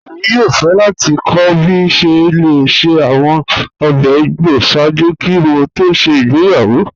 Ẹ̀mi yòò fẹ́ láti kọ̀ bí a ṣẹ́ lẹ̀ ṣẹ́ awọn ọ̀bẹ̀ ìgbọ́ sáàjú kí mò tó ṣẹ́ ìgbéyàwó